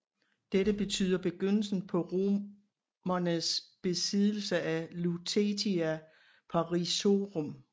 Dette betyder begyndelsen på romernes besiddelse af Lutetia Parisiorum